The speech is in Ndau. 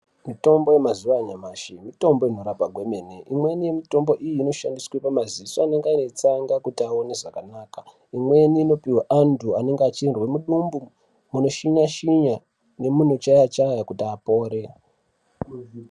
Mutombo yemazuwa anyamashi mitombo inorapa kwemene. Imweni yemitombo iyi inoshandiswe pamaziso anenge aine tsanga kuti aone zvakanaka. Imweni inopihwe antu anenge achizwe mudumbu munoshinya-shinya, nemunochaya-chaya kuti apore.